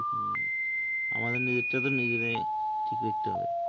হুম আমাদের তো নিজেরাই ঠিক করতে হবে